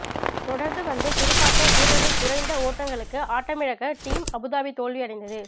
தொடர்ந்து வந்த துடுப்பாட்ட வீரர்கள் குறைந்த ஒட்டங்களுக்கு ஆட்டமிழக்க டீம் அபுதாபி தோல்வி அடைந்தது